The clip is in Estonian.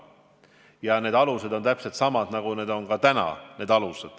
Ja need alused on täpselt samad, nagu need on täna.